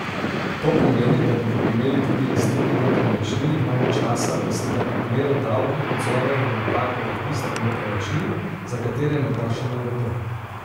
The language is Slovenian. To pomeni, da bodo imeli tudi lastniki nepremični manj časa, da se pred odmero davka odzovejo na napake v registru nepremičnin, za katere morda še ne vedo.